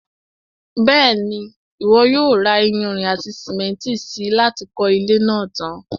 Bẹ́ẹ̀ni, Ìwọ yóò ra iyanrìn àti sìmẹ́ntì si láti kọ́ ilé náà tan.